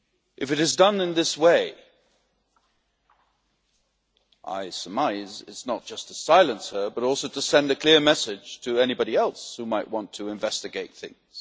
If it is done in this way I surmise it is not just to silence her but also to send a clear message to anybody else who might want to investigate things.